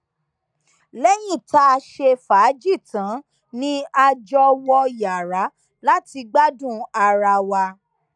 lẹyìn tá a ṣe fàájì tán ni a jọ wọ yàrá láti gbádùn ara wa